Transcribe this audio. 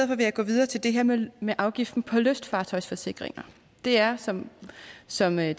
vil jeg gå videre til det her med med afgiften på lystfartøjsforsikringer det er som som herre